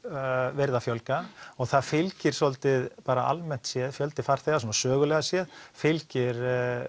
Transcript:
verið að fjölga og það fylgir svolítið almennt séð fjöldi farþega svona sögulega séð fylgir